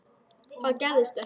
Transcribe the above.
Það gerðist ekki.